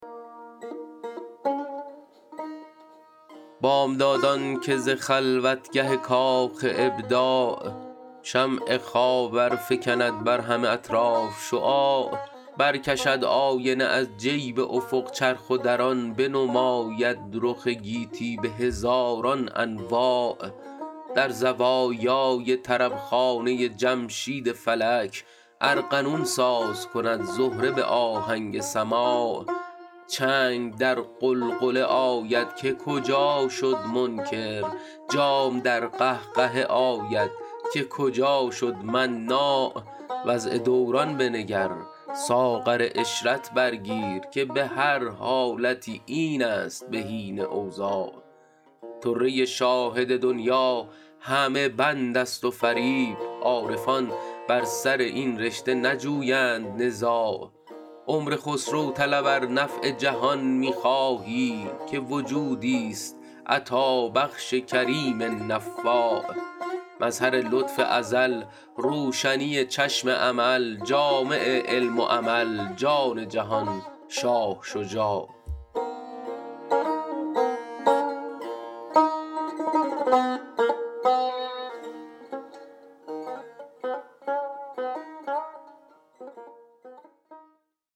بامدادان که ز خلوتگه کاخ ابداع شمع خاور فکند بر همه اطراف شعاع برکشد آینه از جیب افق چرخ و در آن بنماید رخ گیتی به هزاران انواع در زوایای طربخانه جمشید فلک ارغنون ساز کند زهره به آهنگ سماع چنگ در غلغله آید که کجا شد منکر جام در قهقهه آید که کجا شد مناع وضع دوران بنگر ساغر عشرت بر گیر که به هر حالتی این است بهین اوضاع طره شاهد دنیی همه بند است و فریب عارفان بر سر این رشته نجویند نزاع عمر خسرو طلب ار نفع جهان می خواهی که وجودیست عطابخش کریم نفاع مظهر لطف ازل روشنی چشم امل جامع علم و عمل جان جهان شاه شجاع